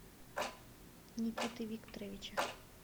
никиты викторовича